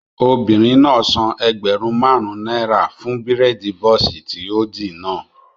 Obìnrin náà san ẹgbẹ̀rún máàrún náírà fún bírèèdì bọ́ọ̀sì tí ó dì náà